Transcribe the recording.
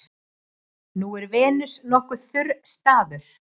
Nú er Venus nokkuð þurr staður.